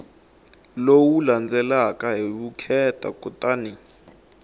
lowu landzelaka hi vukheta kutani